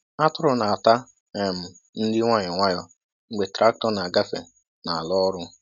Atụrụ na-ata um nri nwayọ nwayọ mgbe traktọ na-agafe n'ala ọrụ.